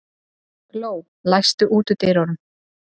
Gló, læstu útidyrunum.